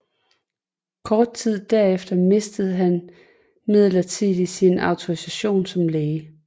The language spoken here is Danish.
Kort tid derefter mistede han midlertidig sin autorisation som læge